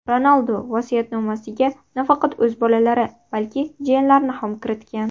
Ronaldu vasiyatnomasiga nafaqat o‘z bolalari, balki, jiyanlarini ham kiritgan.